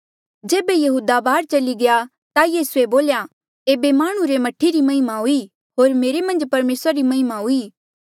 जेबे यहूदा बाहर चली गया ता यीसूए बोल्या एेबे हांऊँ माह्णुं रा मह्ठे री महिमा हुई होर मेरे मन्झ परमेसरा री महिमा हुई